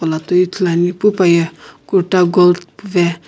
kula toi ithuluani pu paye kurta gold puve pu paye.